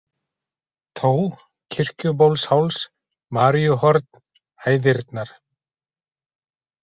Tó, Kirkjubólsháls, Maríuhorn, Hæðirnar